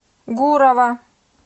гурова